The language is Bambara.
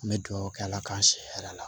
N bɛ dugawu kɛ ala k'an si hɛrɛ a la